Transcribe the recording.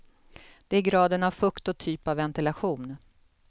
Det är graden av fukt och typ av ventilation.